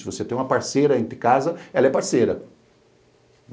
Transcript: Se você tem uma parceira em casa, ela é parceira.